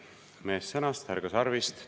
Meest sõnast, härga sarvist.